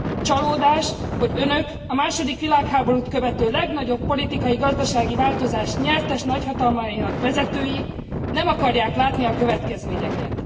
Csalódás, hogy Önök a második világháborút követő legnagyobb politikai, gazdasági változás nyertes nagyhatalmainak vezetői nem akarják látni a következményeket.